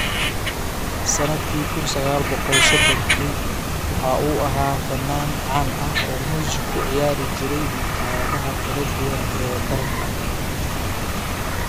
Sannadkii kun sagaal boqol sodhonki waxa uu ahaa fannaaniin caan ah oo muusik ku ciyaari jiray maqaayadaha kala duwan ee dalka.